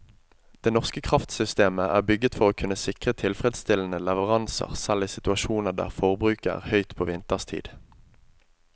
Det norske kraftsystemet er bygget for å kunne sikre tilfredsstillende leveranser selv i situasjoner der forbruket er høyt på vinterstid.